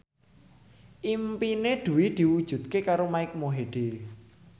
impine Dwi diwujudke karo Mike Mohede